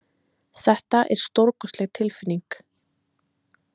Þetta er stórkostleg tilfinning.